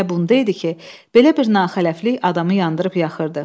Məsələ bunda idi ki, belə bir naxələflik adamı yandırıb yaxırdı.